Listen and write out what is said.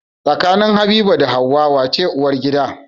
Tsakanin habiba da hauwa wace uwar gida?